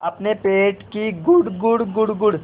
अपने पेट की गुड़गुड़ गुड़गुड़